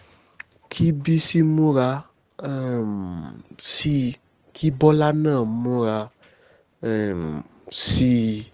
kí bísí múra um sí i kí bọ́lá náà múra um sí i